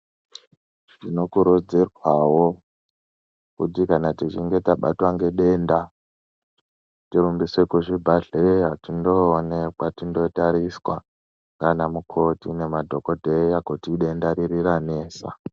Tinokurudzirwawo kuti kana tichinge tabatwa ngedenda tirumbiswe kuzvibhedhlera tindoonekwa, tindootariswa nana mukoti nana dhogodheya kuti idenda riri ranesa.